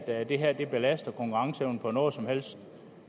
at det her belaster konkurrenceevnen på noget som helst